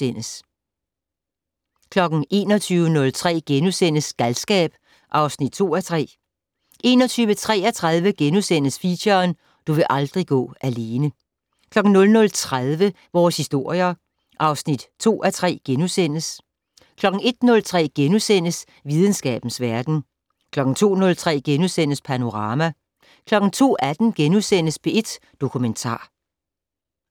20:03: På tomandshånd med smørrebrødsjomfru Ida Davidsen * 21:03: Galskab (2:3)* 21:33: Feature: Du vil aldrig gå alene * 00:30: Vores historier (2:3)* 01:03: Videnskabens verden * 02:03: Panorama * 02:18: P1 Dokumentar *